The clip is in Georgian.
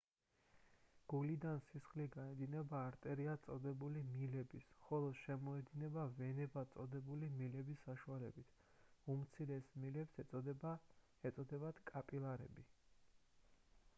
გულიდან სისხლი გაედინება არტერიად წოდებული მილების ხოლო შემოედინება ვენებად წოდებული მილების საშუალებით უმცირეს მილებს ეწოდებათ კაპილარები